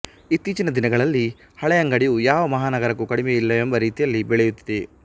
ಇತ್ತೀಚಿನ ದಿನಗಳಲ್ಲಿ ಹಳೆಯಂಗಡಿಯು ಯಾವ ಮಹಾನಗರಕ್ಕೂ ಕಡಿಮೆಯಿಲ್ಲವೆಂಬ ರೀತಿಯಲ್ಲಿ ಬೆಳೆಯುತ್ತಿದೆ